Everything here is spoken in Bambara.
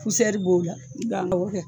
b'o la awɔ kɛ